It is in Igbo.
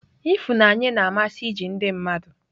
Ifunanye na-amasị iji ndị mmadụ.